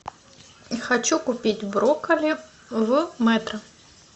хочу купить брокколи в метро